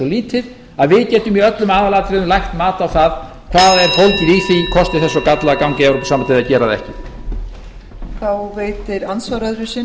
lítið að við getum í öllum aðalatriðum lagt mat á það hvað er fólgið í því kosti þess og galla að ganga í evrópusambandið eða gera það ekki